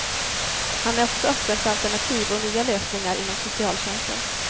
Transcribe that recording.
Han är också öppen för alternativ och nya lösningar inom socialtjänsten.